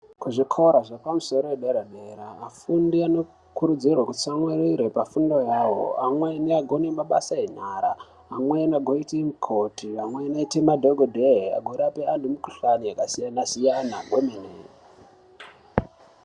Kuzvikora zvefundo yepadera dera vafundi vanokurudzirwa kutsamwirira pafundo yavo amweni agone mabasa enyara amweni agoite mikoti amweni agoite madhokoteya agorapa antu mikuhlani yakasiyana-siyana kwemene.